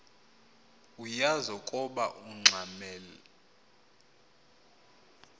uyaz ukoba ungxamel